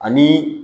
Ani